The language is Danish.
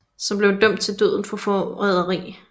Som blev dømt til døden for foræderi